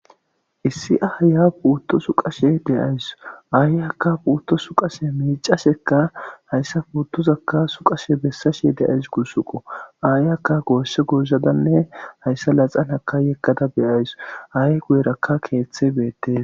Issi aaya puutto suqashe de'awusu. Aayiyakka puutto suqashe miicashekka hayssa puuttozakka suqashe bessashe de'awusu gusakko. Aayakka goosha gozadanne hayssa naxalahaka yeggada be'awusu. Aaye guyerakka keeththe beettes.